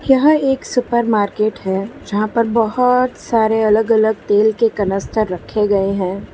यह एक supermarket है। जहां पर बहुत सारे अलग-अलग तेल के कनस्टर रखे गए हैं।